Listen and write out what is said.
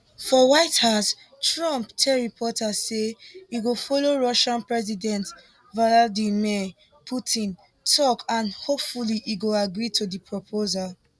for white house trump tell reporters say e go follow russian president vladimir putin tok and hopefully e go gree to di proposal